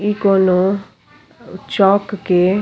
इ कोनो चौक के --